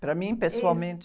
Para mim, pessoalmente?sso.